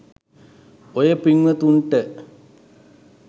ඔය පිංවතුන්ට